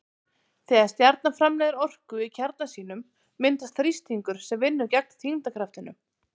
Þegar stjarna framleiðir orku í kjarna sínum myndast þrýstingur sem vinnur gegn þyngdarkraftinum.